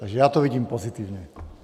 Takže já to vidím pozitivně.